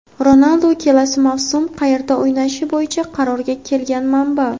Ronaldu kelasi mavsum qayerda o‘ynashi bo‘yicha qarorga kelgan – manba.